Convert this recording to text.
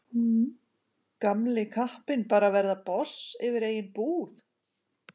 Gamli kappinn bara að verða boss yfir eigin búð.